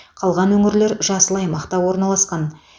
қалған өңірлер жасыл аймақта орналасқан